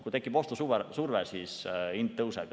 Kui tekib ostusurve, siis hind tõuseb.